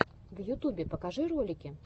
в ютубе покажи ролики